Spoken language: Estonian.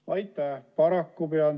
Aitäh!